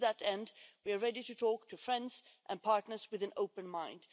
To that end, we are ready to talk to friends and partners with an open mind.